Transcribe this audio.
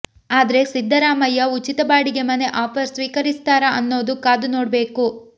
ಆದ್ರೆ ಸಿದ್ದರಾಮಯ್ಯ ಉಚಿತ ಬಾಡಿಗೆ ಮನೆ ಆಫರ್ ಸ್ವೀಕರಿಸ್ತಾರಾ ಅನ್ನೋದು ಕಾದುನೋಡ್ಬೇಕು